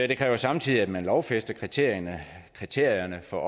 det kræver samtidig at man lovfæster kriterierne kriterierne for